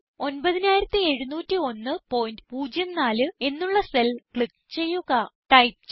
total 970104 എന്നുള്ള cell click ചെയ്യുക